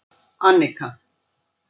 Annika